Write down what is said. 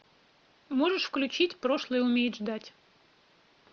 можешь включить прошлое умеет ждать